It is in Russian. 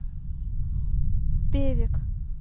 певек